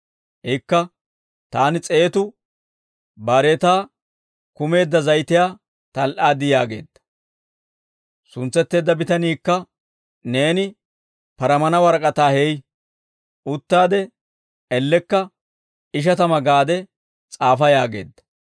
«Ikka, ‹Taani s'eetu baareetaa kumeedda zayitiyaa tal"aad› yaageedda. «Suntsetteedda bitaniikka, Neeni paramana warak'ataa hey; uttaade ellekka ‹Ishatama› gaade s'aafa yaageedda.